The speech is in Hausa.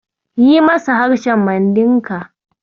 Yi masa harshen Mandinka.